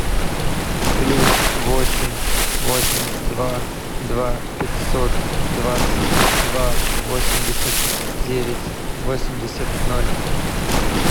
плюс восемь восемь два два пятьсот двадцать два восемьдесят девять восемьдесят ноль